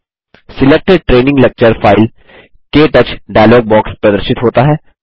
select training lecture file क touch dialog box प्रदर्शित होता है